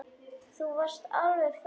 Þú varst alveg frábær.